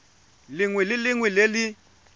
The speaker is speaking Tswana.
lengwe le lengwe le le